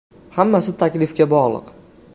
Hammasi taklifga bog‘liq.